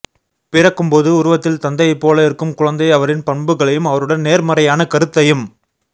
பிறக்கும்போது உருவத்தில் தந்தையைப்போல இருக்கும் குழந்தை அவரின் பண்புகளையும் அவருடன் நேர்மறையான கருத்தையும்